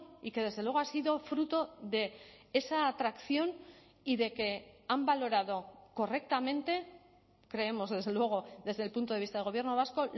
y que desde luego ha sido fruto de esa atracción y de que han valorado correctamente creemos desde luego desde el punto de vista del gobierno vasco